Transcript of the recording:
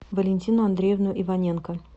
валентину андреевну иваненко